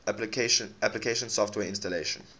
application software installation